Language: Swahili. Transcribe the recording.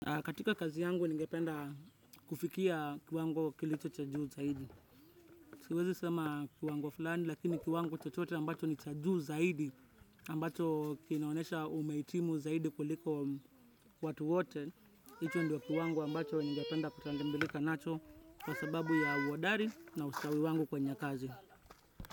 Katika kazi yangu, ningependa kufikia kiwango kilicho cha juu zaidi. Siwezi sema kiwango fulani, lakini kiwango chochote ambacho ni cha juu zaidi. Ambacho kinaonesha umehitimu zaidi kuliko watu wote. Hicho ndio kiwango ambacho ningependa kutambulika nacho kwa sababu ya uhodari na ustawi wangu kwenye kazi.